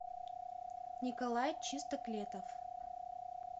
николай чистоклетов